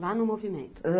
Lá no movimento.